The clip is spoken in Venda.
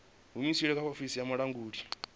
humusilwe kha ofisi ya vhulanguli